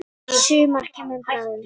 Sumar kemur bráðum.